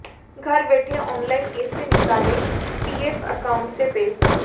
घर बैठे ऑनलाइन ऐसे निकालें पीएफ एकाउंट से पैसा